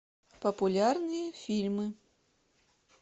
популярные фильмы